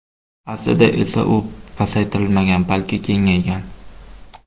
Aslida esa u pasaytirilmagan, balki kengaygan.